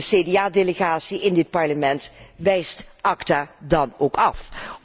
De CDA delegatie in dit Parlement wijst ACTA dan ook af.